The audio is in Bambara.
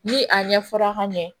Ni a ɲɛ fɔra ka ɲɛ